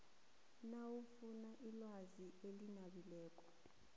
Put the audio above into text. nawufuna ilwazi elinabileko